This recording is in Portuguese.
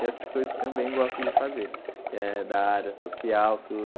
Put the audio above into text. Tem outras coisas que também gosto de fazer, que é da área social, tudo.